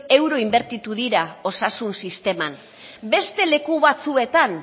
euro inbertitu dira osasun sisteman beste leku batzuetan